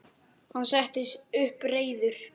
Hann settist upp, reiður.